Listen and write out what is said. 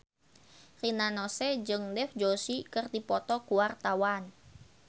Rina Nose jeung Dev Joshi keur dipoto ku wartawan